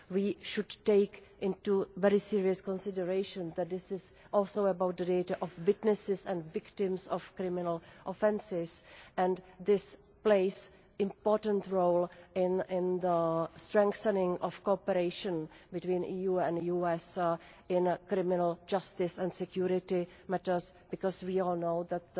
We should take into very serious consideration that this is also about the data of witnesses and victims of criminal offences, and this plays an important role in the strengthening of cooperation between the EU and the US in criminal justice and security matters, because we all know that